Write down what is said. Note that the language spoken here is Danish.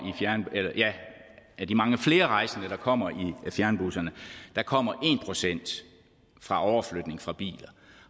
af de mange flere rejsende der kommer i fjernbusserne kommer en procent fra overflytning fra biler